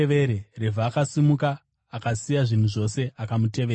Revhi akasimuka, akasiya zvinhu zvose akamutevera.